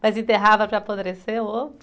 Mas enterrava para apodrecer o ovo?